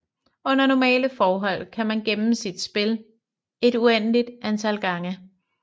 Under normalle forhold kan man gemme sit spil et uendeligt antal gange